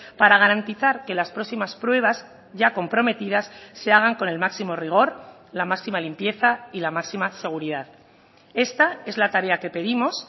para garantizar que las próximas pruebas ya comprometidas se hagan con el máximo rigor la máxima limpieza y la máxima seguridad esta es la tarea que pedimos